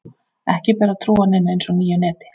Ekki ber að trúa neinu eins og nýju neti.